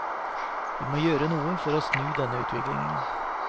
Vi må gjøre noe for å snu denne utviklingen.